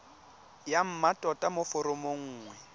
ya mmatota mo foromong nngwe